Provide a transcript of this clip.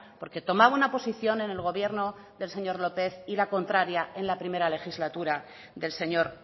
porque tomaba una posición en el gobierno del señor lópez y la contraria en la primera legislatura del señor